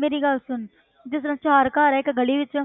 ਮੇਰੀ ਗੱਲ ਸੁਣ ਜਿਸ ਤਰ੍ਹਾਂ ਚਾਰ ਘਰ ਹੈ ਇੱਕ ਗਲੀ ਵਿੱਚ